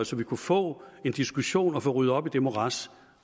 så vi kunne få en diskussion og få ryddet op i det morads